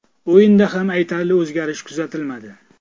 O‘yinda ham aytarli o‘zgarish kuzatilmadi.